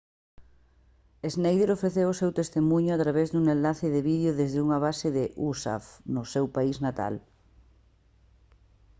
schneider ofreceu o seu testemuño a través dun enlace de vídeo desde unha base da usaf no seu país natal